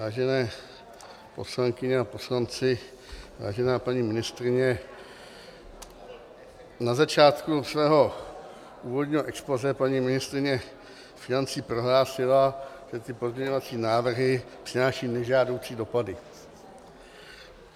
Vážené poslankyně a poslanci, vážená paní ministryně, na začátku svého úvodního expozé paní ministryně financí prohlásila, že ty pozměňovací návrhy přináší nežádoucí dopady.